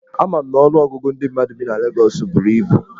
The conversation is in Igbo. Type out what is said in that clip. Ama m na ọnụọgụgụ ndị mmadụ bi na Legọs buru ibu.